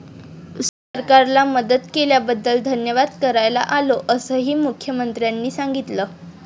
सरकारला मदत केल्याबद्दल धन्यवाद करायला आलो, असंही मुख्यमंत्र्यांनी सांगितलं.